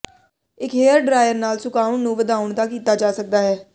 ਇੱਕ hair dryer ਨਾਲ ਸੁਕਾਉਣ ਨੂੰ ਵਧਾਉਣ ਦਾ ਕੀਤਾ ਜਾ ਸਕਦਾ ਹੈ